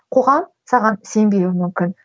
қоғам саған сенбеуі мүмкін